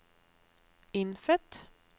innfødt